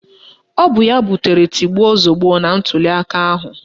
Ọ bụ ya butere tigbuo zọgbuo na ntụliaka ahụ